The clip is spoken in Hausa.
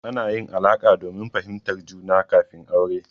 Ana yin alaƙa domin fahimtar juna kafin aure.